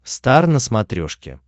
стар на смотрешке